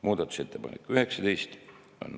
Muudatusettepanek nr 19.